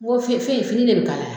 Nko fe fe ye fini de be kalaya